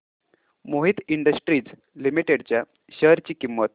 Mohit industries limited च्या share ची किंमत